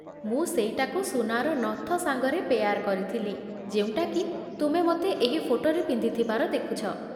ମୁଁ ସେଇଟାକୁ ସୁନାର ନଥ ସାଙ୍ଗରେ ପେୟାର୍ କରିଥିଲି, ଯେଉଁଟାକି ତୁମେ ମୋତେ ଏହି ଫୋଟୋରେ ପିନ୍ଧିଥିବାର ଦେଖୁଛ ।